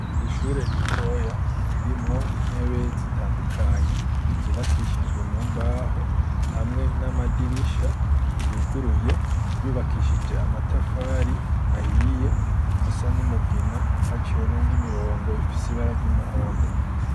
Ishure ritoya, ririmwo intebe, zitandukanye, zubakishijwe mu mbaho, hamwe n'amadirisha, yuguruye; yubakishije amatafari ahiye, asa n'umugina, haciwemwo n'imirongo, ifise ibara ry'umuhondo.